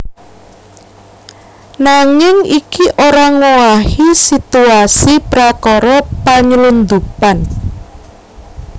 Nanging iki ora ngowahi situasi prakara panylundhupan